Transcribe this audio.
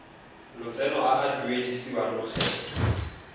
lotseno a a duedisiwang lokgetho